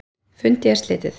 Fundi er slitið.